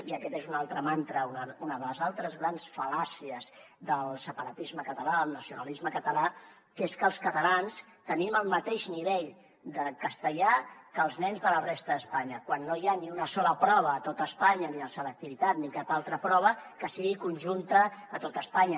i aquest és un altre mantra una de les altres grans fal·làcies del separatisme català del nacionalisme català que és que els catalans tenim el mateix nivell de castellà que els nens de la resta d’espanya quan no hi ha ni una sola prova a tot espanya ni la selectivitat ni cap altra prova que sigui conjunta a tot espanya